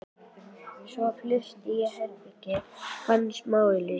Svo flutti ég í herbergi sem ég fann í smáauglýsingunum.